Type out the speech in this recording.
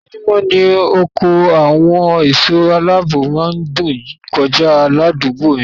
Ojoojúmọ́ ni ọkọ àwọn ẹ̀sọ́ aláààbò má ń dún kọjá ládùúgbò mi